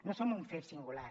no som un fet singular